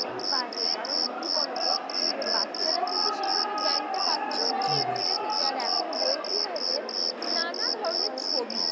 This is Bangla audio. এটা একদমই বাজে কারণ কি বলতো? মানে বাচ্চারা কিন্তু সেইভাবে জ্ঞানটা পাচ্ছেও না সেই বইটা থেকে আর এখন বইয়ে কি হয়েছে নানা ধরনের ছবি।